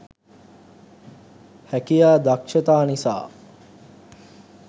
හැකියා දක්‌ෂතා නිසා